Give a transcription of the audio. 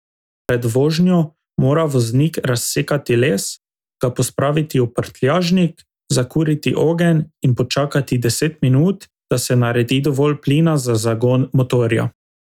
Pred vožnjo mora voznik razsekati les, ga pospraviti v prtljažnik, zakuriti ogenj in počakati deset minut, da se naredi dovolj plina za zagon motorja.